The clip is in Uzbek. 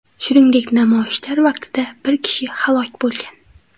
Shuningdek, namoyishlar vaqtida bir kishi halok bo‘lgan.